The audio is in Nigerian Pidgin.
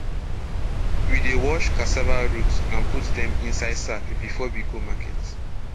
we dey wash cassava root and put dem inside sack before we go market